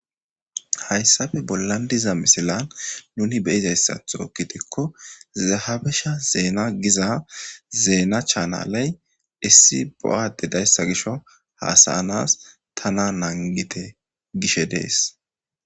Hayssappe bollan diza misilan nuni be'izaththo gidikko ze habesha zeena giza zeena chaanaley issi bo'a adde dayssa gisho haasa'anas tana nangite gishe de'es.